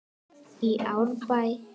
í Árbæ.